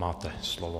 Máte slovo.